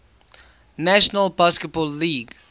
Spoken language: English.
national basketball league